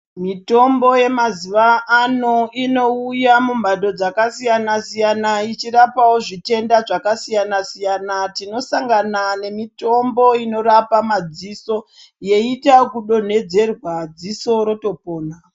Mutombo yemazuwa ano unouya mumhando dzakasiyana siyana ichirapawo zvitenda zvekasiyana siyana tinosanganawo nemutombo inorapa madziso yeita ekudonedzerwa ziso rotopora